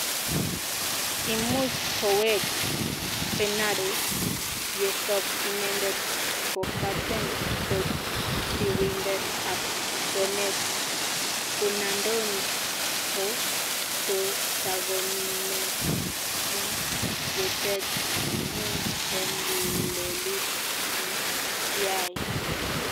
Imuch koweg fernando yesop inendet kopaten kotirindet ap kwenet Fernandinho kotagomiten en yetet amun en lelut ne kiyai.